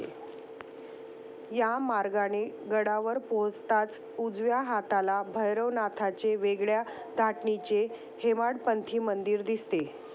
या मार्गाने गडावर पोहोचताच उजव्या हाताला भैरवनाथाचे वेगळ्या धाटणीचे हेमाडपंथी मंदिर दिसते.